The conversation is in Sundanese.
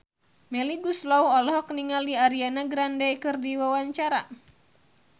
Melly Goeslaw olohok ningali Ariana Grande keur diwawancara